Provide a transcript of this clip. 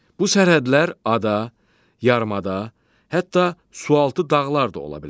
Bu sərhədlər ada, yarımada, hətta sualtı dağlar da ola bilər.